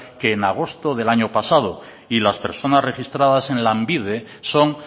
que en agosto del año pasado y las personas registradas en lanbide son